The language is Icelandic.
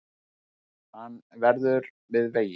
Hann verður við veginn